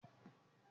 Akin yóò jẹ́ òǹtajà!